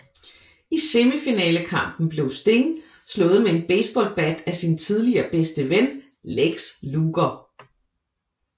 I semifinalekampen blev Sting slået med en baseballbat af sin tidligere bedste ven Lex Luger